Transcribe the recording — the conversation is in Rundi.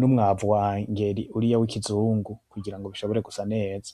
numwavu wa engeri uriya wikizungu kugirango bishobore gusa neza